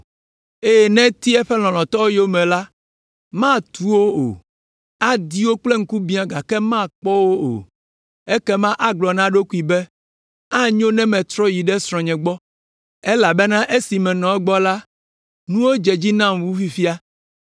eye ne eti eƒe lɔlɔ̃tɔwo yome la matu wo o. Adi wo kple ŋkubiã gake makpɔ wo o. Ekema agblɔ na eɖokui be, ‘Anyo ne metrɔ yi ɖe srɔ̃nye gbɔ, elabena esi menɔ egbɔ la, nuwo dze edzi nam wu fifia.’